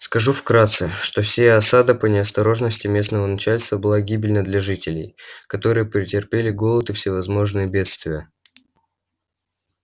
скажу вкратце что сия осада по неосторожности местного начальства была гибельна для жителей которые претерпели голод и всевозможные бедствия